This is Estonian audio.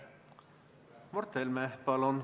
Mart Helme, palun!